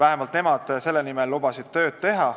Nemad lubasid selle nimel tööd teha.